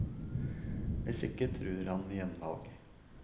Hvis ikke truer han med gjenvalg.